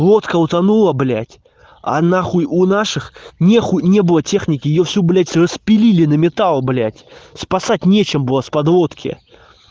лодка утонула блять а на хахуй у наших них не было техники и все блять распилили на металл блять спасать нечем было с подлодки